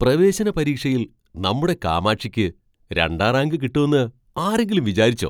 പ്രവേശനപരീക്ഷയിൽ നമ്മുടെ കാമാക്ഷിയ്ക്ക് രണ്ടാം റാങ്ക് കിട്ടൂന്ന് ആരെങ്കിലും വിചാരിച്ചോ?